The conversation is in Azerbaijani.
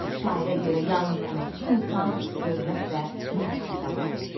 Şairə görə yalnız əməkçi insan hörmət və məhəbbətə layiqdir.